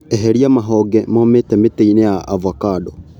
Eheria mahonge momĩte mĩtĩinĩ ya ovacando.